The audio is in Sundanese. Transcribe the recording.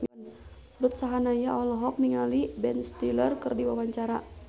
Ruth Sahanaya olohok ningali Ben Stiller keur diwawancara